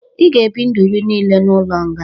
"Ị ga ebi ndụ gi nille n'ụlo nga